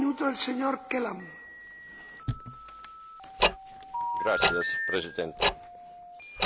Mr President, China has demonstrated impressive economic progress.